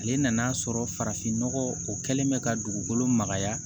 Ale nan'a sɔrɔ farafin nɔgɔ o kɛlen bɛ ka dugukolo magaya